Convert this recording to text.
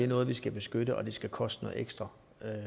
noget vi skal beskytte og at det skal koste noget ekstra